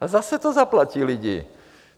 A zase to zaplatí lidi.